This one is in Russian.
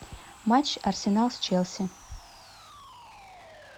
матч арсенал с челси